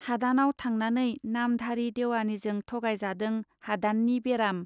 हादानाव थांनानै नामधारि देवानिजों थगायजादों हादाननि बेराम.